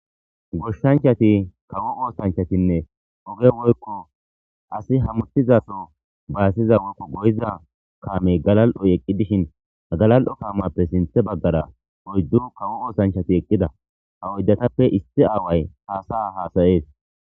Goshshanchati kawo oosanchatinne oge woykko asi hamutizaso baasiza woykko goyiza kaame galal7oy eqqi dishin hgalal7o kaamappe sinthe baggara oyddu kawo oosanchati eqqida ha oyddatappe issi aaway haasaa haasayees.